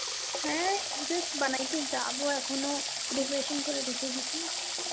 হ্যাঁ just বানাইতে যাব এখনও preparation করে রেখে দিসি.